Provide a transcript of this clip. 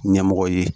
Ɲɛmɔgɔ ye